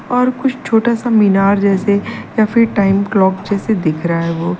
और कुछ छोटा सा मीनार जैसे या फिर टाइम क्लॉक जैसे दिख रहा है वो।